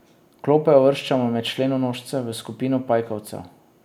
Klope uvrščamo med členonožce, v skupino pajkovcev.